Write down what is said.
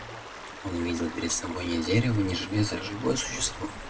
он видел перед собой не дерево не железо а живое существо